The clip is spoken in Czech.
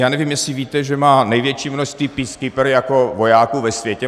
Já nevím, jestli víte, že má největší množství peacekeeper jako vojáků ve světě.